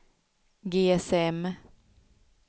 GSM